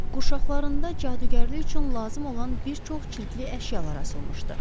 Qurşaqlarında cadugərlik üçün lazım olan bir çox çirkli əşyalar asılmışdı.